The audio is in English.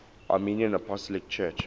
armenian apostolic church